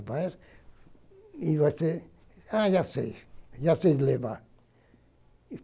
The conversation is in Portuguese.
vai. E você, ah, já sei, já sei levar.